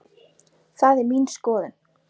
Það er mín skoðun.